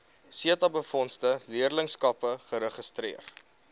setabefondse leerlingskappe geregistreer